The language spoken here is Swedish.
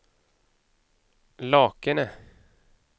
Lakene